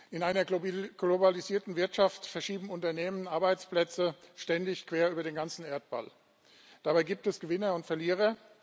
In einer globalisierten Wirtschaft verschieben Unternehmen Arbeitsplätze ständig quer über den ganzen Erdball. Dabei gibt es Gewinner und Verlierer.